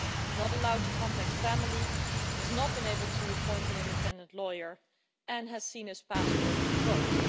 He is not allowed to contact family, has not been able to appoint an independent lawyer and has seen his passport revoked.